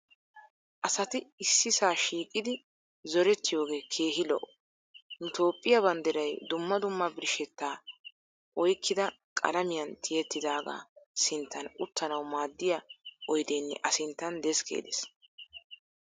Asati issisaa shiiqidi zorettiyoogee keehi lo'o. Nu toophiya banddiray dumma dumma birshshettaa oyikkida qalamiyan tiyettidaagaa sinttan uttanawu maaddiya oyideenne a sinttan deskkee de'es.